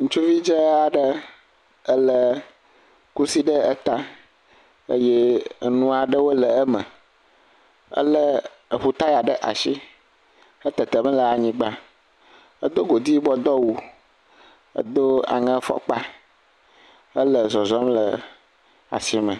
Ŋutsuvi dzaa aɖe elé kusi ɖe ta eye nu aɖewo le eme. Elé ŋu taya ɖe asi hele tetem le anyigba. Edo godui yibɔ do awu. Edo aŋe fɔkpa hele zɔzɔm le asime